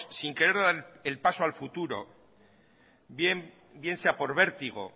sin querer dar el paso al futuro bien sea por vértigo